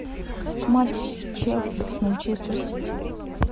матч челси с манчестер сити